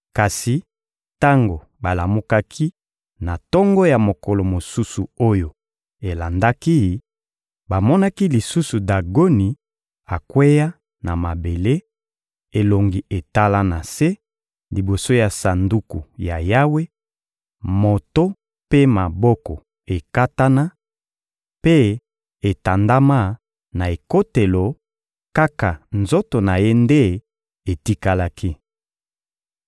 Kasi tango balamukaki na tongo ya mokolo mosusu oyo elandaki, bamonaki lisusu Dagoni akweya na mabele, elongi etala na se, liboso ya Sanduku ya Yawe, moto mpe maboko ekatana, mpe etandama na ekotelo; kaka nzoto na ye nde etikalaki.